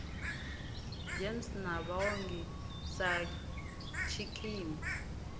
gems na vhaongi sa tshikimu